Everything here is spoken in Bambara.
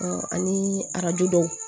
ani arajo dɔw